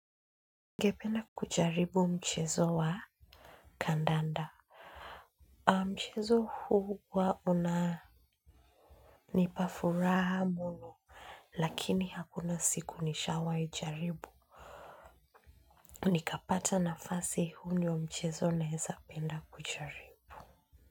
Ningependa kujaribu mchezo wa kandanda. Mchezo huu huwa una nipafuraha muno. Lakini hakuna siku nishawai jaribu. Nikapata nafasi huu ndiyo mchezo naeza penda kujaribu.